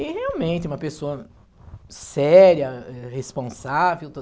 E realmente uma pessoa séria, responsável,